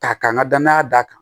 Ta ka n ka danaya d'a kan